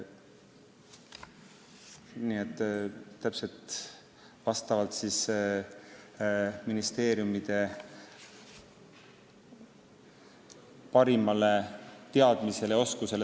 Nii et see rahajagamine toimub vastavalt ministeeriumide parimale teadmisele ja oskusele.